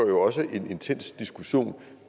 en intens diskussion